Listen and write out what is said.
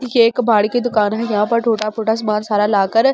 ये एक कबाड़ी की दुकान है यहां पर टूट-फूटा सामान सारा लाकर --